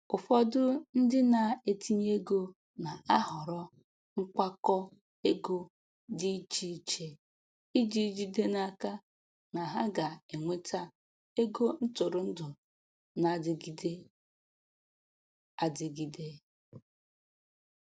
Ụfọdụ ndị na-etinye ego na-ahọrọ nkwakọ ego dị iche iche iji jide n'aka na ha ga-enweta ego ntụrụndụ na-adịgide adịgide.